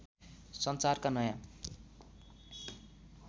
सञ्चारका नयाँ